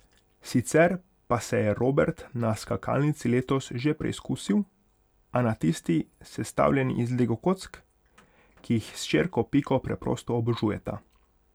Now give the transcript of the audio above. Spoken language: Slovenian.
Sicer pa se je Robert na skakalnici letos že preizkusil, a na tisti, sestavljeni iz lego kock, ki jih s hčerko Piko preprosto obožujeta.